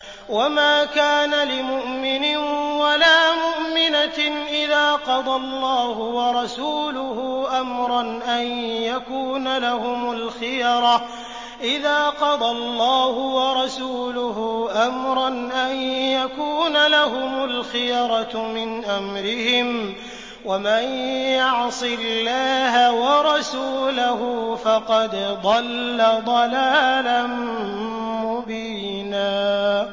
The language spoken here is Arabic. وَمَا كَانَ لِمُؤْمِنٍ وَلَا مُؤْمِنَةٍ إِذَا قَضَى اللَّهُ وَرَسُولُهُ أَمْرًا أَن يَكُونَ لَهُمُ الْخِيَرَةُ مِنْ أَمْرِهِمْ ۗ وَمَن يَعْصِ اللَّهَ وَرَسُولَهُ فَقَدْ ضَلَّ ضَلَالًا مُّبِينًا